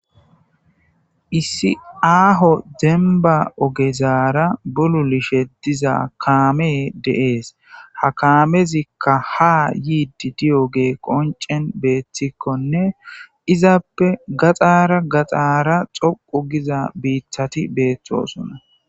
Issi aho demba ogezara bululishe diza kamey de'es ha kamezika ha yidi diyoge qonc'en betikone izappe gaxara gaxara utida bitati betosona.